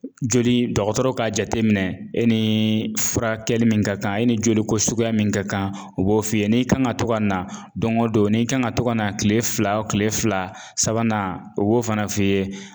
Joli dɔgɔtɔrɔ ka jateminɛ, e ni furakɛli min ka kan ,e ni joli ko suguya min ka kan, u b'o f'i ye n'i kan ka to ka na don o don n'i kan ka to ka na kile fila kile fila sabanan o b'o fana f'i ye